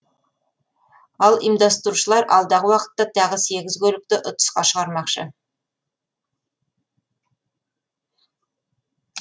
ал ұйымдастырушылар алдағы уақытта тағы сегіз көлікті ұтысқа шығармақшы